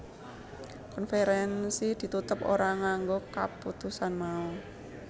Konferensi ditutup ora nganggo kaputusan mau